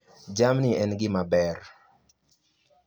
Jamni en gima ber.